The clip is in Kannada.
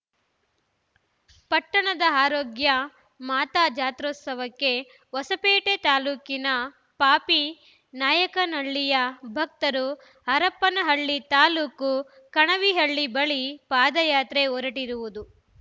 ಪಟ್ಟಣದ ಆರೋಗ್ಯ ಮಾತಾ ಜಾತ್ರೋತ್ಸವಕ್ಕೆ ಹೊಸಪೇಟೆ ತಾಲೂಕಿನ ಪಾಪಿ ನಾಯಕನಹಳ್ಳಿಯ ಭಕ್ತರು ಹರಪನಹಳ್ಳಿ ತಾಲೂಕು ಕಣವಿಹಳ್ಳಿ ಬಳಿ ಪಾದಯಾತ್ರೆ ಹೊರಟಿರುವುದು